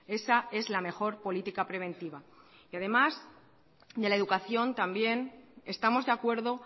esa es la mejor política preventiva además de la educación también estamos de acuerdo